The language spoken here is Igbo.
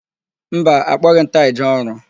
Mba, akpọghị m taị jee ọrụ.